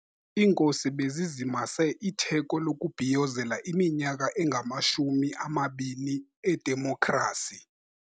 Iinkosi bezizimase itheko lokubhiyozela iminyaka engamashumi amabini edemokhrasi.